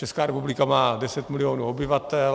Česká republika má 10 milionů obyvatel.